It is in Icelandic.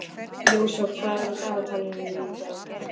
Jósafat, hvað er á dagatalinu í dag?